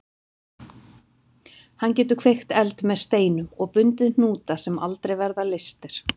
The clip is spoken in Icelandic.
Hann getur kveikt eld með steinum og bundið hnúta sem aldrei verða leystir.